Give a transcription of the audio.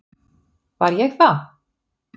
Var ég það?